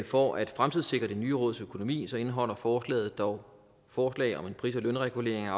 for at fremtidssikre det nye råds økonomi indeholder forslaget dog forslag om en pris og lønregulering af